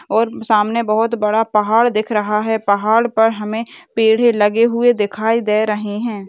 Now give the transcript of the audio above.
और सामने बहुत बड़ा पहाड़ दिख रहा है पहाड़ पर हमे पेड़ लगे हुए दिखाई दे रहे है।